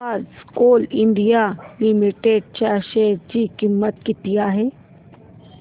आज coal India limited च्या share ची किंमत किती आहे